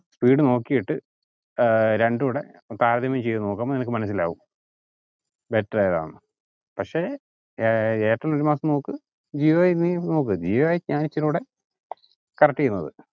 speed നോക്കിയിട്ട് ഏർ രണ്ടോടെ താരതമ്യം ചെയുത് നോക്കുമ്പോ നിനക്ക് മനസിലാവും better ഏതാന്ന്. പക്ഷെ ഏർ എയർടെൽ ഒരു മാസം നോക്ക് ജിയോ നോക്ക് ജിയോ ഒക്കെയാണ് ഇച്ചിരിയുടെ correct എയ്യുന്നത്